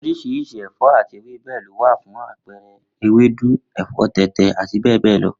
Oriṣiriṣi ẹfọ ati ewebẹ lo wa fun apẹẹrẹ ewedu, ẹfọ tẹtẹ ati bẹbẹ lọ